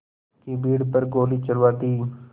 की भीड़ पर गोली चलवा दी